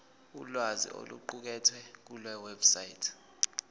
ulwazi oluqukethwe kulewebsite